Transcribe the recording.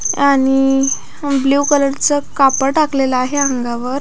आणि blue colour च कापड टाकलेले आहे अंगावर.